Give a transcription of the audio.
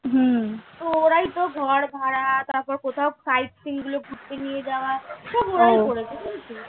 হম তো ওরাই ঘর ভাড়া তারপর কোথাও side seeing গুলো ঘুরতে নিয়ে যাওয়া সবাই ওরাই করেছে